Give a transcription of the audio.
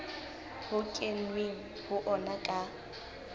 ho kenweng ho ona ka